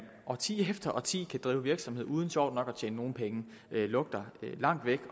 årti efter årti kan drive virksomhed uden sjovt nok at tjene nogen penge lugter langt væk